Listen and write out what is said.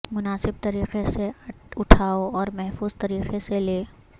مناسب طریقے سے اٹھاو اور محفوظ طریقے سے لے